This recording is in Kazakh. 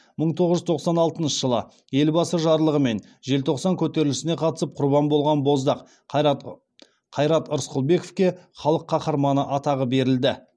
мың тоғыз жүз тоқсан алтыншы жылы елбасы жарлығымен желтоқсан көтерілісіне қатысып құрбан болған боздақ қайрат рысқұлбековке халық қаһарманы атағы берілді